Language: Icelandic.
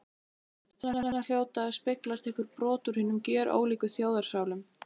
Þarna hljóta að speglast einhver brot úr hinum gjörólíku þjóðarsálum.